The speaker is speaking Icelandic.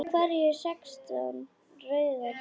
Af hverju sextán rauðar rósir?